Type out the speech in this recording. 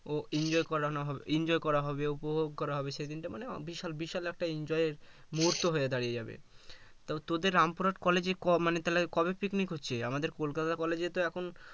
ও enjoy করানো হবে enjoy করা হবে উপভোগ করা হবে সেদিনকে মানে বিশাল বিশাল একটা enjoy এর মুহুর্ত হয়ে দাড়িয়ে যাবে তো তোদের রামপুরহাট college এ মানে তালে কবে picnic হচ্ছে আমাদের কোলকাতা college তো এখন